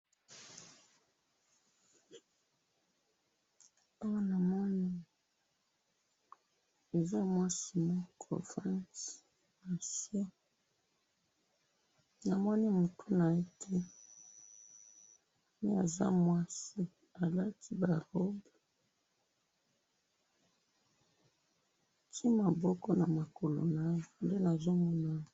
awa namoni boza mwasi moko afandi nase namoni mutu naye te mais aza mwasi alati ba robe atiye maboko na lokolo naye nde nazomona ye.